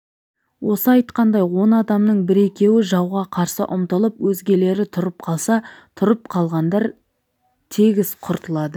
осы айтқандай он адамның бір-екеуі жауға қарсы ұмтылып өзгелері тұрып қалса тұрып қалғандар тегіс құртылады